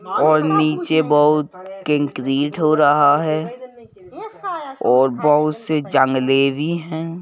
और नीचे बहुत कंक्रीट हो रहा है और बहुत से जंगले भी हैं।